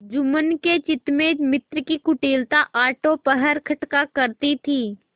जुम्मन के चित्त में मित्र की कुटिलता आठों पहर खटका करती थी